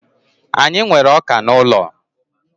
Anyị nwere ọka n'ụlọ.